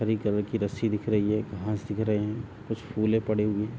हरी colour की रस्सी दिख रही है। घास दिख रहे हैं। कुछ फुले पड़े हुए हैं।